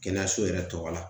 Kɛnɛyaso yɛrɛ tɔgɔ la